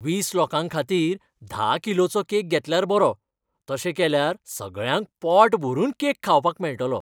वीस लोकां खातीर धा किलोचो केक घेतल्यार बरो. तशें केल्यार सगळ्यांक पोटभरून केक खावपाक मेळटलो.